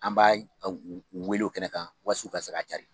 An b'a u u wele kɛnɛ kan was'u ka se k'a cari.